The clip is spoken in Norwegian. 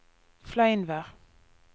Fleinvær